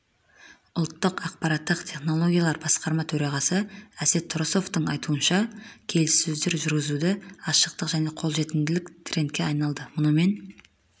ұлттық ақпараттық технологиялар басқарма төрағасы әсет тұрысовтың айтуынша келіссөздер жүргізудегі ашықтық және қолжетімділік трендке айналды мұнымен